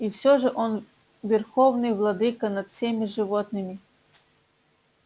и всё же он верховный владыка над всеми животными